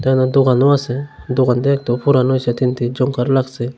এখানে দোকানও আসে দোকানটা একটু পুরানো হয়েসে তিন তিনশো কারও লাগসে।